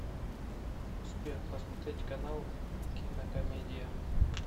сбер посмотреть канал кинокомедия